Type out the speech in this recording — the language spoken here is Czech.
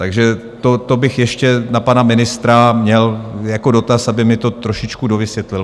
Takže to bych ještě na pana ministra měl jako dotaz, aby mi to trošičku dovysvětlil.